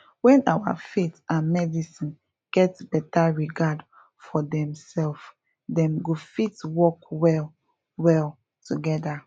when our faith and medicine get beta regard for demself dem go fit work well well together